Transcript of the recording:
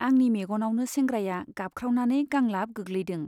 आंनि मेग'नावनो सेंग्राया गाबख्रावनानै गांलाब गोग्लैदों।